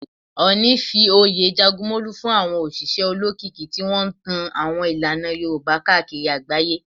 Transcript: Ooni fi oyè Jagunmolu fún àwọn òṣìṣẹ́ olókìkí tí wọ́n ń tan àwọn ìlànà Yorùbá káàkiri agbaye.